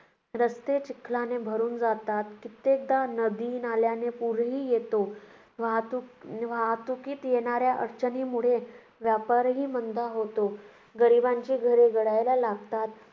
रस्ते चिखलाने भरून जातात. कित्येकदा नदी नाल्यांना पूरही येतो. वाहतुकी~ वाहतुकीत येणाऱ्या अडचणीमुळे व्यापारही मंद होतो. गरिबांची घरे गळायला लागतात.